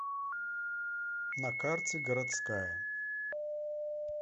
на карте городская